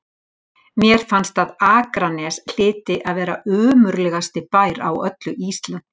Mér fannst að Akranes hlyti að vera ömurlegasti bær á öllu Íslandi.